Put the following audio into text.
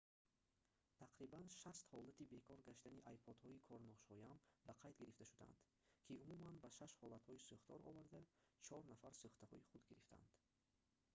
тақрибан 60 ҳолати бекор гаштани ipod-ҳои корношоям ба қайд гирифта шудаанд ки умуман ба 6 ҳолатҳои сӯхтор оварда чор нафар сӯхтаҳои хурд гирифтанд